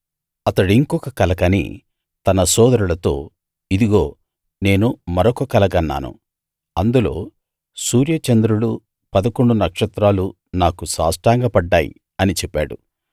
అతడింకొక కల కని తన సోదరులతో ఇదిగో నేను మరొక కల గన్నాను అందులో సూర్య చంద్రులూ పదకొండు నక్షత్రాలూ నాకు సాష్టాంగ పడ్డాయి అని చెప్పాడు